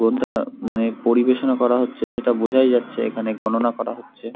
গন্তা মানে পরিবেশনা করা হচ্ছে সেটা বোঝাই যাচ্ছে এখানে গণনা করা হচ্ছে ।